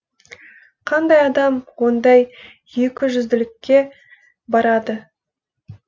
қандай адам ондай екіжүзділікке барады